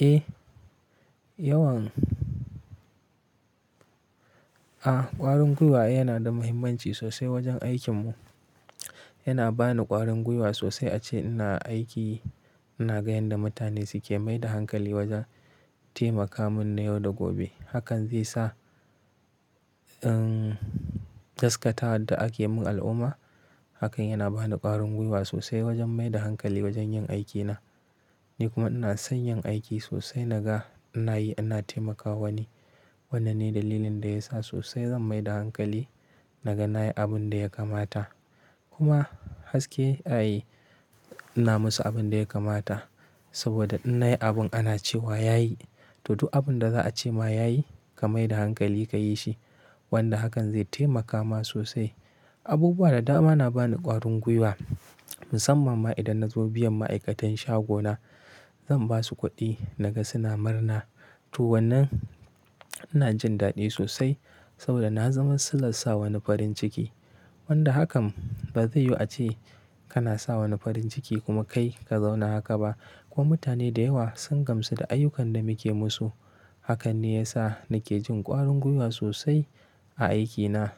Eh, yawan, a ƙwarin gwiwa yana da mahimmanci sosai wajen aikin mu. Yana ba ni ƙwarin gwiwa sosai ace ina aiki ina ga yanda mutane suke mai da hankali wajen taimaka mun na yau da gobe. Hakan zai sa, emmm, taskatar da ake mun al'umma. Hakan yana ba ni ƙwarin gwiwa sosai wajen mai da hankali wajen yin aikina. Ni kuma ina son yin aiki sosai naga ina yi, ina taimakawa ni. Wannan ne dalilin da ya sa sosai zan mai da hankali naga nayi abun da ya kamata. Kuma haske a yi, ina musu abun da ya kamata. Saboda in nayi abun ana cewa yayi, to duk abun da za a ce ma yayi ka mai da hankali ka yi shi. Wanda hakan zai taimaka ma sosai. Abubuwa da dama na bani ƙwarin gwiwa, musamman ma idan na zo biyan ma'aikatan shagona, zan ba su kuɗi naga suna murna. To wannan ina jin daɗi sosai saboda na zama sulan sa wani farin ciki. Wanda hakan ba zai yu ace kana sa wani farin ciki kuma kai ka zauna haka ba. Kuma mutane da yawa sun gamsu da ayyukan da muke musu. Hakan ne ya sa nake jin ƙwarin gwiwa sosai a aikina.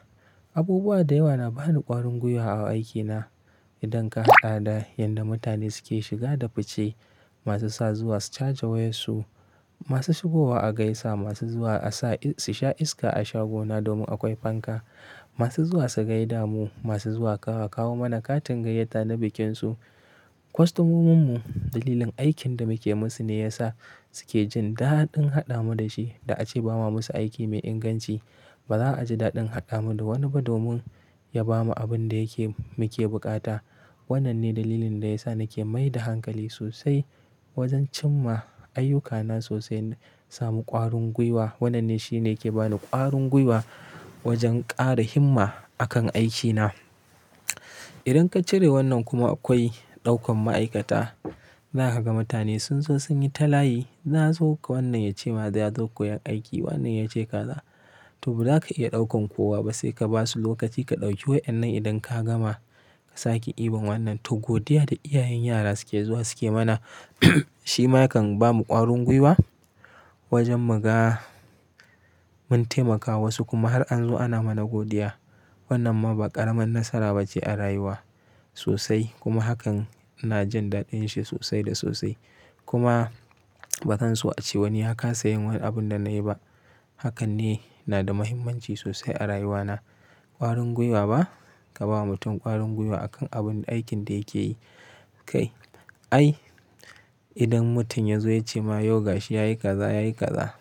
Abubuwa da yawa na bani ƙwarin gwiwa a aikina. Idan ka haɗa da yanda mutane suke shiga da fuce, masu sa zuwa su caja wayar su, masu shigowa a gaisa, masu zuwa a sa, su sha iska a shagona domin akwai fanka, masu zuwa su gaida mu, masu zuwa kawo mana katin gayyata na bikinsu. Kostomomin mu dalilin aikin da muke musu ne ya sa suke jin daɗin haɗa mu da shi. Da ace ba ma musu aiki mai inganci. Ba za a ji daɗin haɗa mu da wani ba domin ya ba mu abun da yake muke bukata. Wannan ne dalilin da ya sa nake mai da hankali sosai wajen cimma ayyukana sosai na samu ƙwarin gwiwa. Wannan ne shine yake bani ƙwarin gwiwa wajen ƙara himma a kan aikina. Idan ka cire wannan kuma akwai ɗaukan ma'aikata. Zaka ga mutane sun zo sun yi ta layi. Na zo wannan ya ce ma zai zo koyan aiki, wannan ya ce kaza. To ba za ka iya ɗaukan kowa ba, sai ka ba su lokaci ka ɗauki wayan nan idan ka gama ka sake ibon wannan. To godiya da iyayen yara suke zuwa suke mana shima ya kan bamu ƙwarin gwiwa wajen muga mun taimaka ma su kuma har an zo ana mana godiya. Wannan ma ba ƙaramin nasara ba ce a rayuwa sosai kuma hakan ina jin daɗin shi sosai da sosai. Kuma ba zan so a ce wani ya kasa yin wani abun da na yi ba. Hakan ne na da mahimmanci sosai a rayuwa na. Ƙwarin gwiwa ba, ka bawa mutum ƙwarin gwiwa a kan abun aikin da yake yi. Kai, ai idan mutum ya zo ya ce ma, "Yau gashi yayi kaza, yayi kaza."